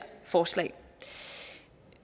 forslag